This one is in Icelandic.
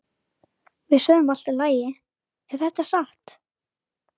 Undrunarsvipurinn minnkaði ekki á andliti mannsins.